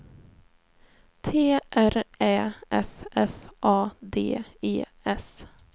T R Ä F F A D E S